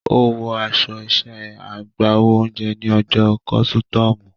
Ó wọ aṣọ iṣẹ́ agbáwo oúnjẹ ní ọjọ́ Kọ̀sùtúùmù.